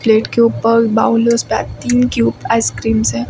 Plate के ऊपर तीन क्यूब आइस क्रीम्स है।